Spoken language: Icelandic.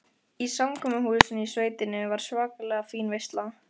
Í samkomuhúsinu í sveitinni var svakalega fín veisla.